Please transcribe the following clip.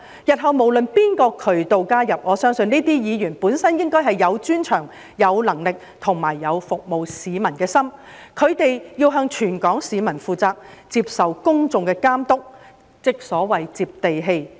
日後無論是從哪個渠道加入，我相信這些議員本身應該是有專長、有能力和有服務市民的心，他們要向全港市民負責，接受公眾的監督，即所謂"接地氣"。